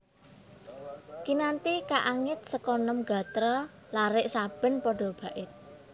Kinanthi kaangit seka nem gatra larik saben pada bait